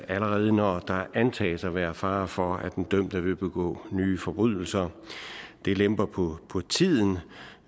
allerede når der antages at være fare for at den dømte vil begå nye forbrydelser det lemper på tiden